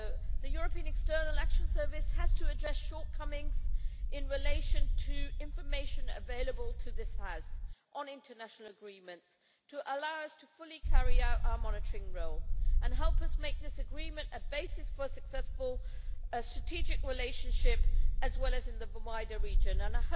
The European External Action Service also has to address shortcomings in relation to the information available to this House on international agreements to allow us fully to carry out our monitoring role and help us make this agreement a basis for a successful strategic relationship in the wider region too.